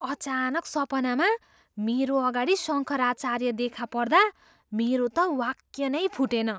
अचानक सपनामा मेरो अगाडि शङ्कराचार्य देखा पर्दा मेरो त वाक्य नै फुटेन।